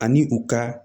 Ani u ka